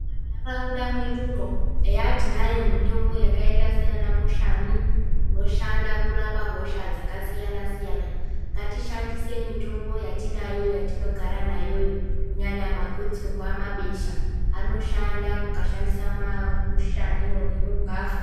Ntaraunda mwedumwo eya tinayo mutombo yakaita saana mushani inoshanda kurapa hosha dzaka siyana siyana ngatishandise mutombo yati ayo yatinogara nayo kunyanya magotsorwa mabesha anoshanda mukashandisa mamushaniwo nemugwavha.